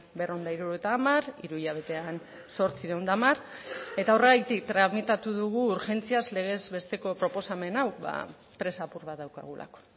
berrehun eta hirurogeita hamar hiru hilabetean zortziehun eta hamar eta horregatik tramitatu dugu urgentziaz legez besteko proposamen hau presa apur bat daukagulako